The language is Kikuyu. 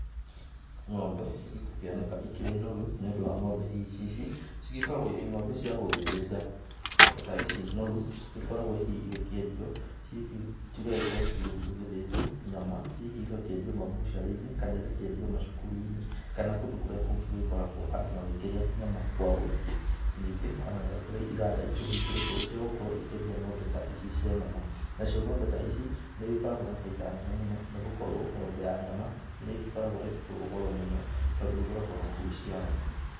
Ng'ombe ĩgũkĩoneka ikĩrĩ noru nĩ ũndũ wa ng'ombe hihi ici cigĩkoragwo irĩ ng'ombe cia gũgĩthĩnja, ng'ombe ta ici noru cigĩkoragwo hihi igĩkĩendio cigagĩkorwo cigĩgĩthiĩ gũgĩthĩnjwo nyama hihi igakĩendio mabucirĩ-inĩ kana igakĩendio macukuru-inĩ kana igakiendio macukuru-inĩ kana kundũ kũrĩa kũngĩ gũgĩkoragwo andũ makĩrĩa nyama kwa wĩingĩ, ningĩ ona nĩ kũrĩ iganda ihĩngũrĩtwo cia gũkorwo ikĩendia ng'ombe ta ng'ombe ta ici cia nyama nacio ng'ombe ta ici nĩ ĩgĩkoragwo na baita nene mũno nĩ gũkorwo ng'ombe ya nyama nĩ ĩgĩkoragwo ikĩgũrwo goro mũno tandũ ĩgũragwo na kiro ciayo.